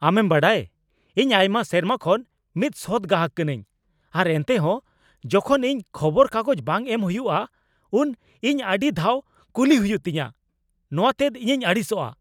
ᱟᱢᱮᱢ ᱵᱟᱰᱟᱭ, ᱤᱧ ᱟᱭᱢᱟ ᱥᱮᱨᱢᱟ ᱠᱷᱚᱱ ᱢᱤᱫ ᱥᱚᱛ ᱜᱟᱦᱟᱠ ᱠᱟᱹᱱᱟᱹᱧ , ᱟᱨ ᱮᱱᱴᱮᱦᱚᱸ ᱡᱚᱠᱷᱚᱱ ᱤᱧ ᱠᱷᱚᱵᱚᱨ ᱠᱟᱜᱚᱡ ᱵᱟᱝ ᱮᱢ ᱦᱩᱭᱩᱜᱼᱟ ᱩᱱ ᱤᱧ ᱟᱹᱰᱤ ᱫᱷᱟᱣ ᱠᱩᱞᱤ ᱦᱩᱭᱩᱜ ᱛᱤᱧᱟᱹ ᱱᱚᱣᱟ ᱛᱮᱫᱚ ᱤᱧᱤᱧ ᱟᱹᱲᱤᱥᱚᱜᱼᱟ ᱾